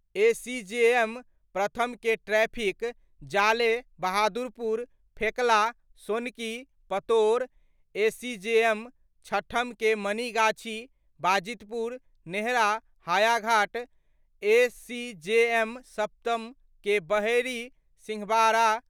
ACJM प्रथम के traffic, Jale, Bahadurpur, Fekla, Sonki, Pator, ACJM छठम के मनीगाछी, बाजितपुर, नेहरा, हयाघाट, एसीजेएम सप्तम के बहेरी, सिंहबाड़ा।